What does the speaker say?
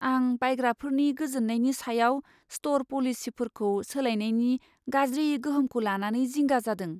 आं बायग्राफोरनि गोजोननायनि सायाव स्ट'र पलिसिफोरखौ सोलायनायनि गाज्रि गोहोमखौ लानानै जिंगा जादों।